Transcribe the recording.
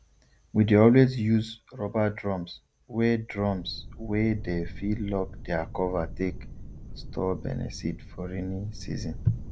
we dey always use rubber drums wey drums wey dey fit lock their cover take store beniseed for rainy season